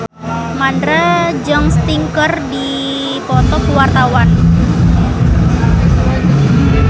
Mandra jeung Sting keur dipoto ku wartawan